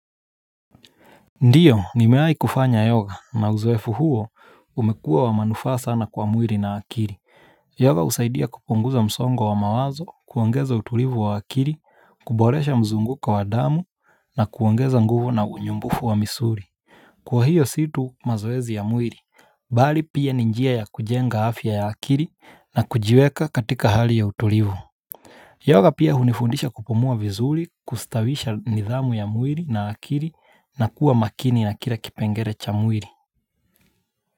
Ndiyo, nimeai kufanya yoga na uzoefu huo umekua wa manufaa na kwa muiri na akiri. Yoga husaidia kupunguza msongo wa mawazo, kuangeza utulivu wa akiri, kuboresha mzunguko wa damu na kuongeza nguvu na unyumbufu wa misuri. Kwa hiyo situ mazoezi ya muiri, bali pia ninjia ya kujenga afya ya akiri na kujiweka katika hali ya utulivu. Yoga pia hunifundisha kupumua vizuri, kustawisha nidhamu ya mwiri na akiri na kuwa makini na kira kipengere cha mwiri.